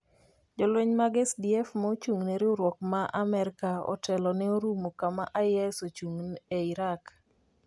Jolweny mag SDF ma ochung’ne riwruok ma Amerka otelo ne orumo kama IS ochung’ie e Raqqa.